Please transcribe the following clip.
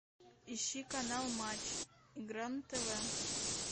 ищи канал матч игра на тв